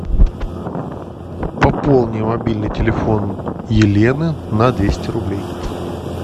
пополни мобильный телефон елены на двести рублей